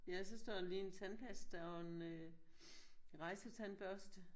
Ja så står der lige en tandpasta og en øh rejsetandbørste